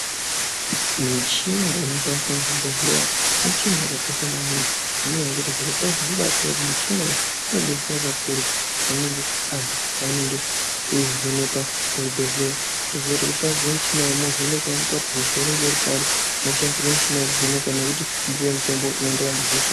Michina inoshandiswa muzvibhedhleya michina yakakosha maningi ngenyaya yekuti zvirokwazvo nekuti michina iyi inobetsera kakurutu panenge antu paanenge eivhenekwa kuzvibhedhleya. Votoziya kuti voshandisirwa michina yemwo vovhenekwa voona kuti hosha inenge iri pari moshandisirwa michina vokuvheneka nokuti mopuve mutombo inoenderana nehosha.